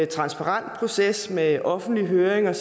transparent proces med offentlige høringer